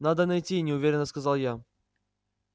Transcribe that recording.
надо найти неуверенно сказал я